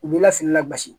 U b'i lafiya la basi